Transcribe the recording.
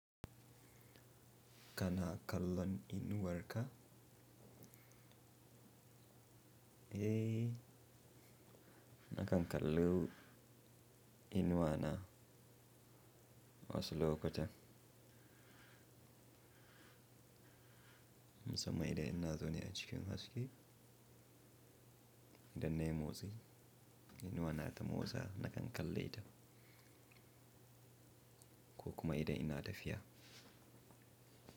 Kana kallon inuwar ka? Eh, nakan kallo inuwa na wasu lokutan. Musamman idan ina zau ne a cikin haske, idan nayi motsi inuwa na ta motsa nakan kalle ta. Ko kuma idan ina tafiya.